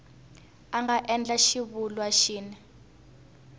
a nga endla xivulwa xin